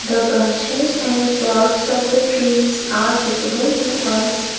The branches and barks of the trees are visible to us.